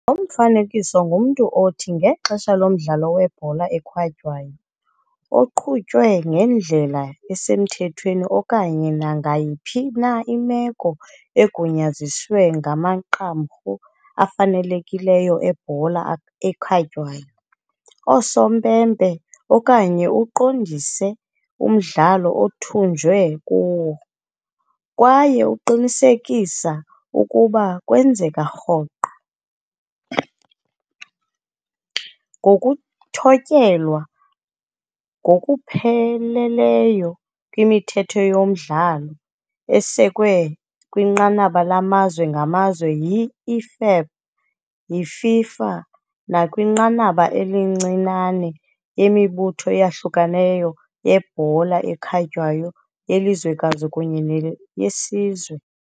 Lo mfanekiso ngumntu othi, ngexesha lomdlalo webhola ekhatywayo, oqhutywe ngendlela esemthethweni okanye nangayiphi na imeko egunyaziswe ngamaqumrhu afanelekileyo ebhola ekhatywayo, "osompempe" okanye uqondise umdlalo otyunjwe kuwo, kwaye uqinisekisa ukuba kwenzeka rhoqo. ngokuthotyelwa ngokupheleleyo kwemithetho yomdlalo, esekwe kwinqanaba lamazwe ngamazwe yi- IFAB, yiFIFA nakwinqanaba elincinane yimibutho eyahlukeneyo yebhola ekhatywayo yelizwekazi kunye neyesizwe.